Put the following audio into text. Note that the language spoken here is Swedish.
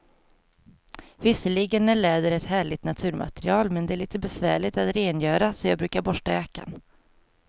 Visserligen är läder ett härligt naturmaterial, men det är lite besvärligt att rengöra, så jag brukar borsta jackan.